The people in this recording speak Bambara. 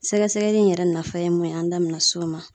Sɛgɛsɛgɛli in yɛrɛ nafa ye mun ye an da bɛna s'o ma.